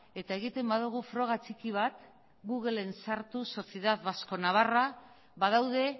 eta egiten badugu froga txiki bat googlen sartuz sociedad vasco navarra badaude